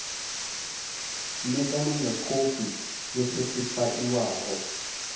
ṋekane nga khophi yo sethifaiwaho